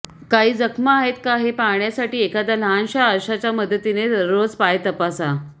काही जखमा आहेत का हे पाहण्यासाठी एखाद्या लहानश्या आरशाच्या मदतीने दररोज पाय तपासा